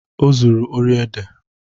O zuru ori ede.